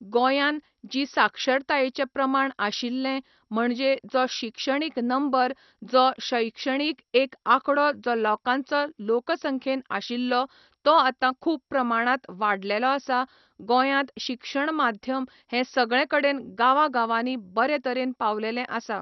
गोंयान जी साक्षरतायेचें प्रमाण आशिल्ले म्हणजे जो शिक्षणीक नंबर जो शैक्षणीक एक आंकडो जो लोकांचो लोक संख्येन आशिल्लो तो आतां खूब प्रमाणांत वाडलेलो आसा गोंयांत शिक्षण माध्यम हें सगळें कडेन गांवा गांवानी बरें तरेन पावलेलें आसा